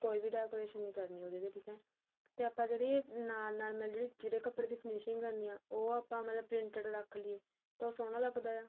ਕੋਈ ਵੀ decoration ਨੀਂ ਕਰਨੀ ਉਹਦੀ ਠੀਕ ਏ ਤੇ ਆਪਾਂ ਜਿਹੜੀ ਨਾਲ ਨਾਲ ਜਿਹੜੇ ਕਪੜੇ ਦੀ finishing ਕਰਨੀ ਏ ਉਹ ਆਪਾਂ ਮਤਲਬ printed ਰੱਖ ਲਈਏ ਤਾਂ ਉਹ ਸੋਹਣਾ ਲੱਗਦਾ ਆ